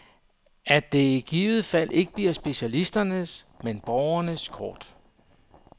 At det i givet fald ikke bliver specialisternes, men borgernes kort.